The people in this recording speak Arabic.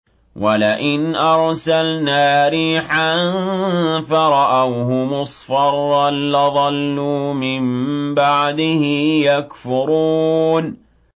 وَلَئِنْ أَرْسَلْنَا رِيحًا فَرَأَوْهُ مُصْفَرًّا لَّظَلُّوا مِن بَعْدِهِ يَكْفُرُونَ